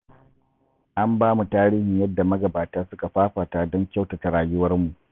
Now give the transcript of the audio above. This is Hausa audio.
An ba mu tarihin yadda magabata suka fafata don kyautata rayuwarmu